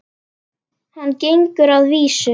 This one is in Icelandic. Hann gengi að því vísu.